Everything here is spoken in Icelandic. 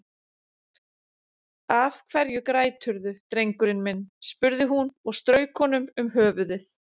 Af hverju græturðu drengurinn minn, spurði hún og strauk honum um höfuðið.